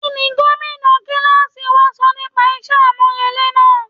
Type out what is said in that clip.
Kí ni Gómìnà kíláàsì wa sọ nípa iṣẹ́ àmúrelé náà?